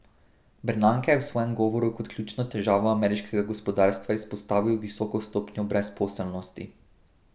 Bernanke je v svojem govoru kot ključno težavo ameriškega gospodarstva izpostavil visoko stopnjo brezposelnosti.